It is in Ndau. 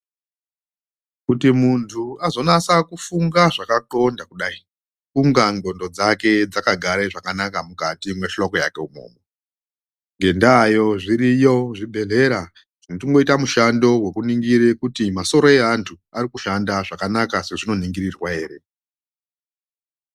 Kuti muntu azonasa kufunga zvakatxonda kudai kunga ndxondo dzake dzakagara zvakanaka mukati mwehloko yeke imwomwo. Ngendaayo zviriyo zvibhedhlera zvinotomboite mushando vekuningire kuti masoro evantu arikushanda zvakanaka sezvinoningirirwa ere.